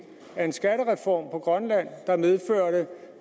af en skattereform